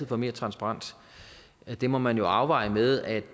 for mere transparens det må man jo afveje med at